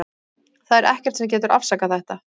Það er ekkert sem getur afsakað þetta.